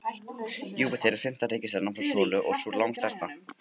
Júpíter er fimmta reikistjarnan frá sólu og sú langstærsta.